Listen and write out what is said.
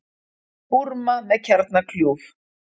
Búrma með kjarnakljúf